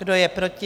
Kdo je proti?